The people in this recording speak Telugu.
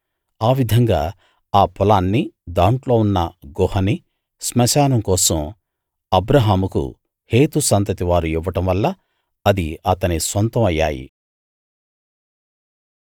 ఆ విధంగా ఆ పొలాన్నీ దాంట్లో ఉన్న గుహనీ శ్మశానం కోసం అబ్రాహాముకు హేతు సంతతి వారు ఇవ్వడం వల్ల అవి అతని సొంతం అయ్యాయి